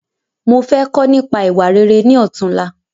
Mo fẹ́ kọ́ nípa ìwà rere ni ọ̀túnla